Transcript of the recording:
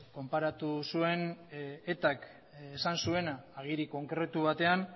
konparatu zuen etak esan zuena agiri konkretu batean